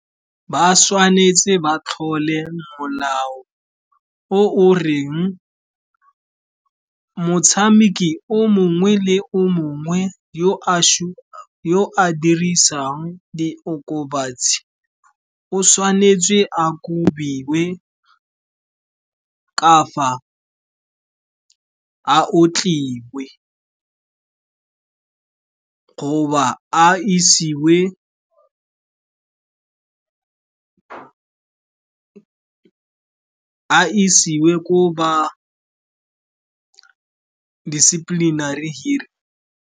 Ba tshwanetse ba tlhole molao o o reng motshameki o mongwe le o mongwe yo a dirisang di okobatsi o tshwanetse a kobiwe kapa a otliwe, goba a isiwe ko ba disciplinary hearing.